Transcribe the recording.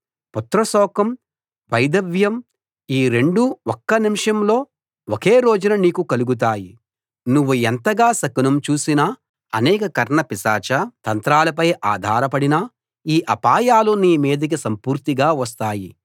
పుత్ర శోకం వైధవ్యం ఈ రెండూ ఒక్క నిమిషంలో ఒకే రోజున నీకు కలుగుతాయి నువ్వు ఎంతగా శకునం చూసినా అనేక కర్ణపిశాచ తంత్రాలపై ఆధారపడినా ఈ అపాయాలు నీ మీదికి సంపూర్తిగా వస్తాయి